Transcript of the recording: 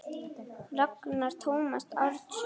Ragnar Tómas Árnason